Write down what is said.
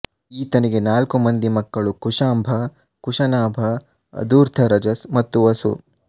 ಈತನಿಗೆ ನಾಲ್ಕು ಮಂದಿ ಮಕ್ಕಳು ಕುಶಾಂಭ ಕುಶನಾಭ ಅಧೂರ್ಥರಜಸ್ ಮತ್ತು ವಸು